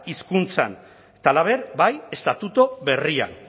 hizkuntzan eta halaber bai estatutu berrian